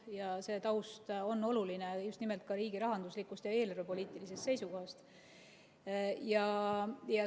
Ja see taust on oluline just nimelt riigirahanduslikust ja eelarvepoliitilisest seisukohast.